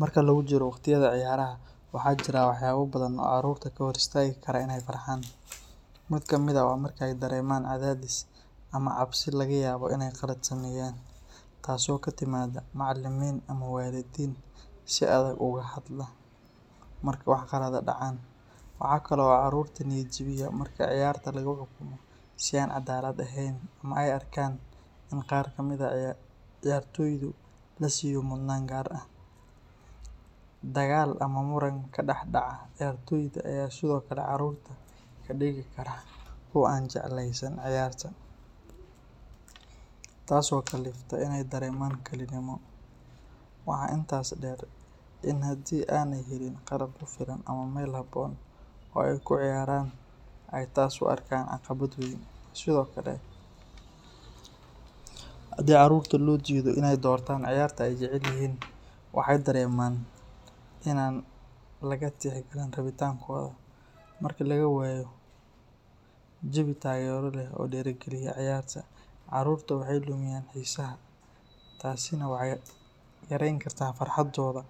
Marka lagu jiro waqtiyada ciyaaraha, waxa jira waxyaabo badan oo caruurta ka hor istaagi kara inay farxaan. Mid ka mid ah waa marka ay dareemaan cadaadis ama cabsi laga yaabo inay qalad sameeyaan, taasoo ka timaadda macallimiin ama waalidiin si adag uga hadla marka wax qalad ah dhacaan. Waxa kale oo caruurta niyad-jabiya marka ciyaarta lagu xukumo si aan cadaalad ahayn ama ay arkaan in qaar ka mid ah ciyaartoydu la siiyo mudnaan gaar ah. Dagaal ama muran ka dhex dhaca ciyaartoyda ayaa sidoo kale caruurta ka dhigi kara kuwo aan jeclaysan ciyaarta. Qaar ka mid ah caruurta waxay dareemaan cidlo ama laga reebay ciyaarta, taas oo kalifta inay dareemaan kalinimo. Waxa intaas dheer in haddii aanay helin qalab ku filan ama meel habboon oo ay ku ciyaaraan, ay taas u arkaan caqabad weyn. Sidoo kale, haddii carruurta loo diido inay doortaan ciyaarta ay jecel yihiin, waxay dareemaan in aan laga tixgelin rabitaankooda. Marka laga waayo jawi taageero leh oo dhiirrigeliya ciyaarta, caruurta waxay lumiyaan xiisaha, taasina waxay yarayn kartaa farxaddooda